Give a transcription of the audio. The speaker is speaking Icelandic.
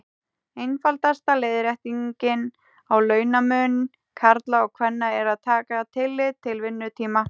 Einfaldasta leiðréttingin á launamun karla og kvenna er að taka tillit til vinnutíma.